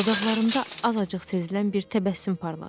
Dodaqlarında azacıq sezilən bir təbəssüm parladı.